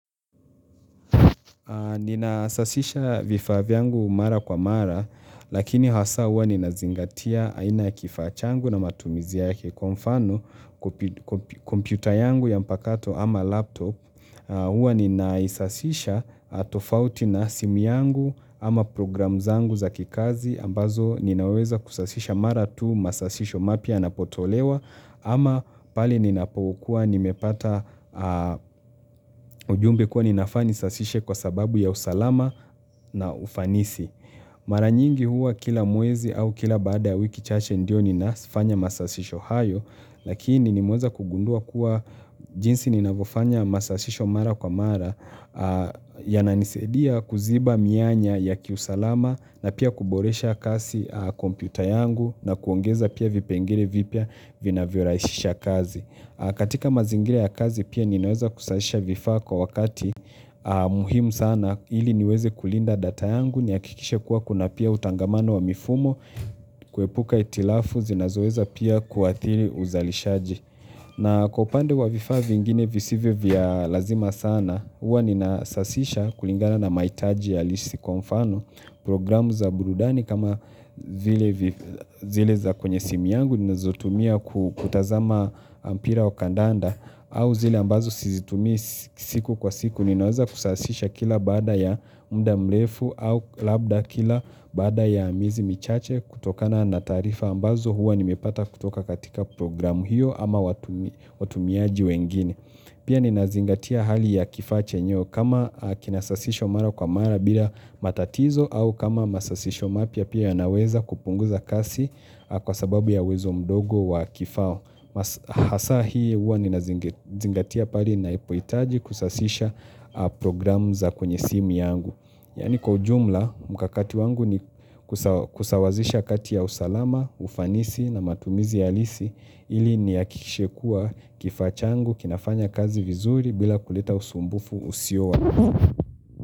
Ninasasisha vifaa vyangu mara kwa mara, lakini hasa hua ninazingatia aina ya kifaa changu na matumizi yake kwa mfano kompyuta yangu ya mpakato ama laptop. Huwa ninaisasisha tofauti na simu yangu ama program zangu za kikazi ambazo ninaweza kusasisha mara tu masasisho mapya yanapotolewa ama pale ninapokuwa nimepata ujumbe kuwa ninafaa nisasishe kwa sababu ya usalama na ufanisi. Mara nyingi huwa kila mwezi au kila baada ya wiki chache ndio ninafanya masasisho hayo Lakini nimeweza kugundua kuwa jinsi ninafanya masasisho mara kwa mara yananisaidia kuziba mianya ya kiusalama na pia kuboresha kasi kompyuta yangu na kuongeza pia vipengele vipya vinavyorahisisha kazi katika mazingira ya kazi pia ninaweza kusahisha vifaa kwa wakati muhimu sana na ili niweze kulinda data yangu, nihakikishe kuwa kuna pia utangamano wa mifumo, kuepuka hitilafu, zinazoweza pia kuathiri uzalishaji. Na kwa upande wa vifaa vingine visivyo vya lazima sana, huwa ninasasisha kulingana na mahitaji halisi kwa mfano, programu za burudani kama zile za kwenye simu yangu, ninazotumia kutazama mpira au kandanda, au zile ambazo sizitumii si siku kwa siku, ninaweza kusasisha kila baada ya muda mrefu au labda kila baada ya miezi michache kutokana na taarifa ambazo hua nimepata kutoka katika programu hiyo ama watumiaji wengine. Pia ninazingatia hali ya kifaa chenyewe kama kinasasishwa mara kwa mara bila matatizo au kama masasisho mapya pia yanaweza kupunguza kasi kwa sababu ya uwezo mdogo wa kifaa. Hasa hii huwa ninazingatia pale ninahipoitaji kusasisha program za kwenye simu yangu Yaani kwa ujumla mkakati wangu ni kusawazisha kati ya usalama, ufanisi na matumizi halisi ili nihakikishe kuwa kifaa changu, kinafanya kazi vizuri bila kulita usumbufu usiowa.